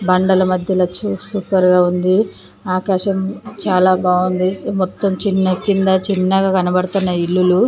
మండల మధ్య వచ్చి సూపర్ గా ఉంది. ఆకాశం చాలా బాగుంది. మొత్తం చిన్న కింద చిన్నగా కనబడుతున్న ఇల్లులు.